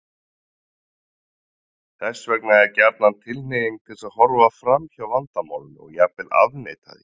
Þess vegna er gjarnan tilhneiging til að horfa fram hjá vandamálinu og jafnvel afneita því.